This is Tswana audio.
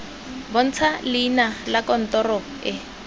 bontsha leina la kantoro e